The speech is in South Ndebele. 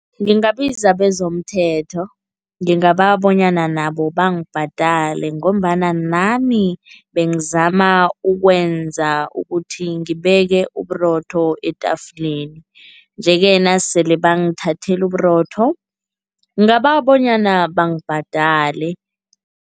Ngingabiza bezomthetho. Ngingabawa bonyana nabo bangibhadale ngombana nami bengizama ukwenza ukuthi ngibeke uburotho etafuleni nje-ke nasele bangithathela uburotho, ngingabawa bonyana bangibhadale.